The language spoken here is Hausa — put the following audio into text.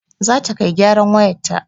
Zata kai gyaran wayarta